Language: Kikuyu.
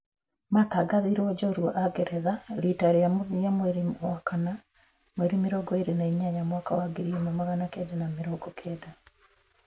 Matangathirũo njoorua a ngeretha rita rĩa mũthia mweri wa kana 28, 1990.